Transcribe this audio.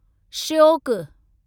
Shyok